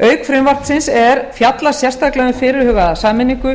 auk frumvarpsins er fjallað sérstaklega um fyrirhugaða sameiningu